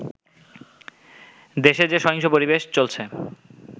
দেশে যে সহিংস পরিবেশ চলছে